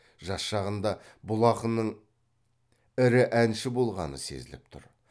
жас шағында бұл ақынның ірі әнші болғаны сезіліп тұр